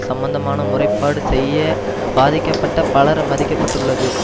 சம்பந்தமாக முறைப்பாடு செய்ய பாதிக்கப்பட்ட பலர் மதிப்பிட பட்டுள்ளது